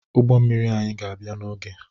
Ụgbọ mmiri anyị ga-abịa n'oge